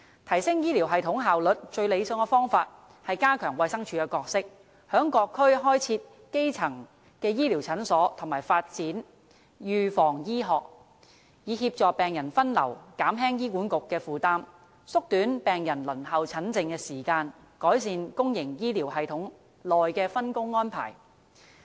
提升醫療系統效率的最理想方法是：加強衞生署的角色，於各區開設基層醫療診所和發展預防醫學，以協助病人分流，減輕醫管局的負擔，縮短病人輪候診症的時間，改善公營醫療系統內的分工安排。